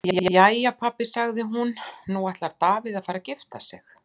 Jæja pabbi, sagði hún, nú ætlar Davíð að fara að gifta sig.